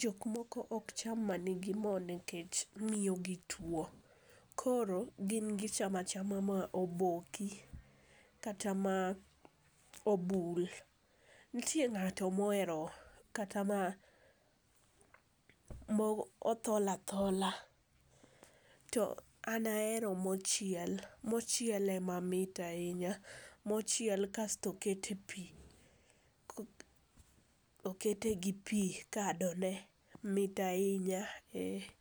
jok moko ok cham manigi mo nikech miyogi tuo nikechgin gichamo achama moboki kata ma obul. Nitie ng'ato mohero kata ma mothol athola. To an ahero mochiel, mochiel ema mit ahinya, mochiel kasto oket e pi okete gi pi, kadone mit ahinya, ee.